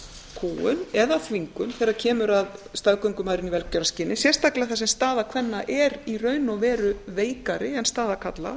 kúgun eða þvingun þegar kemur að staðgöngumæðrun í velgjörðarskyn sérstaklega þar sem staða kvenna er í raun og veru veikari en staða karla